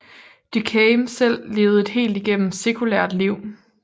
Durkheim selv levede et helt igennem sekulært liv